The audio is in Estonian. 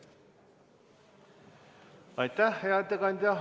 Aitäh, hea ettekandja!